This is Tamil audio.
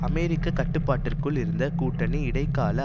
அமெரிக்க கட்டுப்பாட்டிற்குள் இருந்த கூட்டணி இடைக்கால